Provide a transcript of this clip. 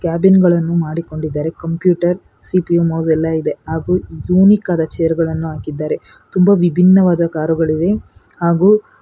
Cabin ಗಳನ್ನು ಮಾಡಿಕೊಂಡಿದ್ದಾರೆ computer CPU mouse ಎಲ್ಲ ಇದೆ ಹಾಗೂ ಯೂನಿಕ್ ಆದ ಚೇರ್ ಗಳನ್ನು ಹಾಕಿದ್ದಾರೆ ತುಂಬಾ ವಿಭಿನ್ನವಾದ ಕಾರು ಗಳಿವೆ ಹಾಗೂ.